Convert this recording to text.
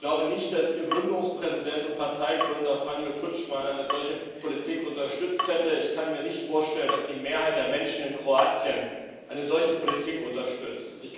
Ich glaube nicht, dass Ihr Gründungspräsident und Parteigründer Franjo Tuđman eine solche Politik unterstützt hätte, ich kann mir nicht vorstellen, dass die Mehrheit der Menschen in Kroatien eine solche Politik unterstützt.